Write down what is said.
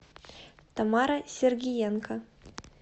тамара сергиенко